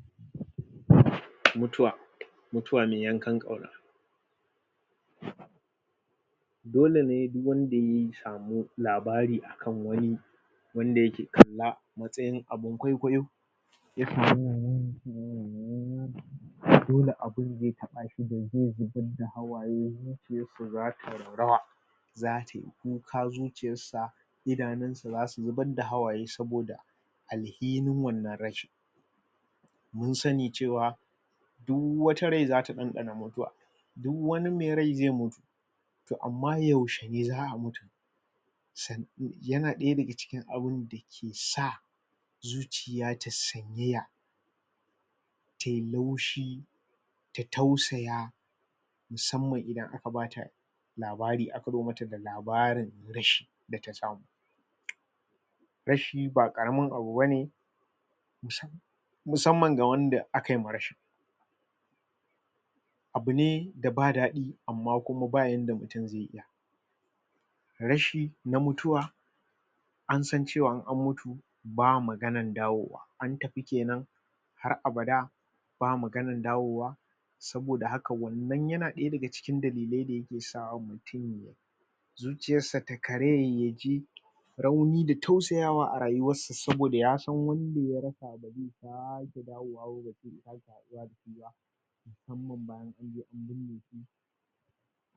? mutuwa mutuwa mai yankan ƙauna dole ne duk wanda yayi samu labari kan wani wanda yake kalla matsayin abun kwaikwayo ya samu dole abun yay sashi ya zubar da hawaye zuciyar sa zata raunana ya kuka zuciyar sa idanun sa zasu zubar da hawaye saboda alhinin wannan rashin mun sani cewa duk wata rai zata ɗanɗana mutuwa duk wani mai rai zai mutu amman toh yaushe ne za'a mutu yana ɗaya daga cikin abin ke sa zuciya ta sanyaya tai laushi ta tausaya musamman idan aka bata labari aka zo mata da labarin rashi data samu rashi ba ƙaramin abu bane musamman ga wanda akayiwa rashin abune da ba daɗi amman kuma ba yanda mutum zai iya rashi na mutuwa ansan cewa in an mutu ba'a maganar dawowa an tafi kenan har abada ba maganar dawowa saboda haka wannan yana ɗaya daga cikin cikin dalilai da yake sawa zuciyar sa ta karaya yaji rauni da tausayawa a rayuwar sa saboda yasan wanda ya rasa bazai sake dawowa ba balle ya sake haɗuwa dasu musamman bayan anje an binne su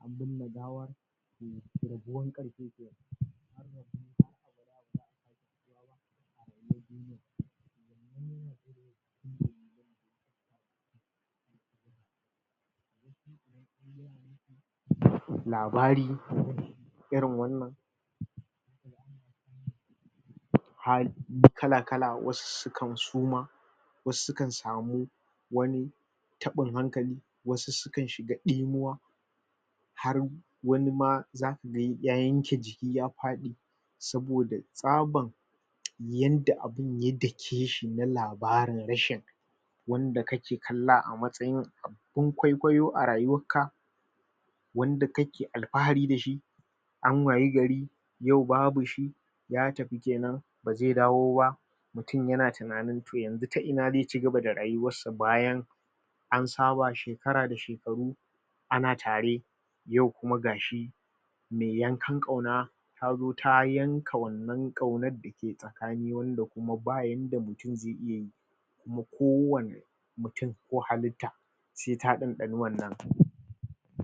an binne gawar to rabuwar kenan labari irin wannan hi kala kala wasu sukan soma wasu sukan samu wani taɓin hankali wasu sukan shiga ɗimuwa har wani ma zaku gani ya yanke jiki ya faɗi saboda tsabar yanda abun ya dake dake shi na labarin rashin wanda kake kalla a matsayin ko kwaikwayo a rayuwar ka wanda kake alfahari dashi an wayi gari yau babu shi ya tafi kenan bazai dawo ba mutum yana tunanin yanxu ta ina zai cigaba da rayuwarsa bayan an saba shekara da shekaru ana tare yau kuma gashi mai yankan ƙauna tazo ta yanka wannan ƙaunar ke tsakani wanda kuma ba yanda mutum zai iya yi kuma ko wanne mutum ko halitta sai ta ɗanɗani wannan